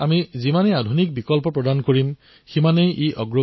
তাতোকৈ ডাঙৰ কথা হল তেওঁ আজি নিজৰ এলেকাৰ শতাধিক কৃষকক সহায়ো কৰি আছে